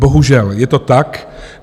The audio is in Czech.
Bohužel je to tak.